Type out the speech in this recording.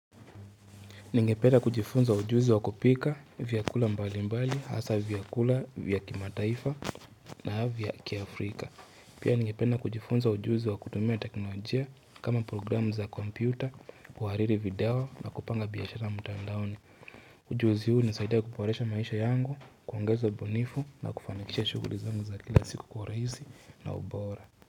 Ningepena kujifunza ujuzi wa kupika, vyakula mbali mbali, hasa vyakula vya kimataifa na vya kia Afrika. Pia ningepena kujifunza ujuzi wa kutumia teknolojia kama programu za komputa, uwariri video na kupanga biyashara mutandaoni. Ujuzi huu nisaidia kuporesha maisha yangu, kuongeza bonifu na kufanakisha shughuli zangu za kila siku kwa raisi na ubora.